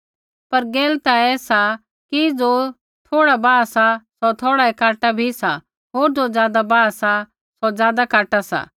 पर गैल ता ऐसा कि ज़ो थोड़ा बाहा सा सौ थोड़ाऐ काटा बी सा होर ज़ो ज्यादा बाहा सा सौ ज्यादा काटा